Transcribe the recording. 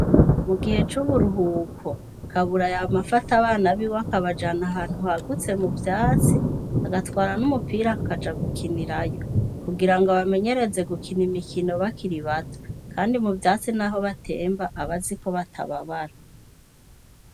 Mugihe c'uburuhuko Kabura Yama Afata abana biwe akabajana ahantu hagutse muvyatsi, agatwara n'umupira akaja gukinirayo ,kugirango abamenyereze gukina imikino bakiri bato kandi muvyatsi naho batemba aba azi ko batababara.